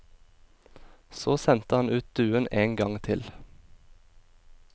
Så sendte han ut duen en gang til.